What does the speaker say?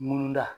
Munna